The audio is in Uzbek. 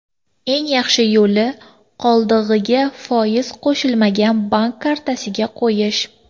Eng yaxshi yo‘li qoldig‘iga foiz qo‘shiladigan bank kartasiga qo‘yish.